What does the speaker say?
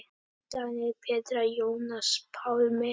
Daníel, Petra, Jónas Pálmi.